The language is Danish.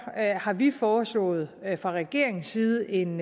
har vi foreslået fra regeringens side en